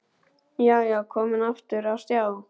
Já, já, komin aftur á stjá!